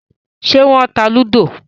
Ṣé wọ́n ta lúdò?